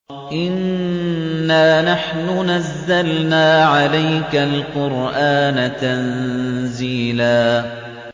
إِنَّا نَحْنُ نَزَّلْنَا عَلَيْكَ الْقُرْآنَ تَنزِيلًا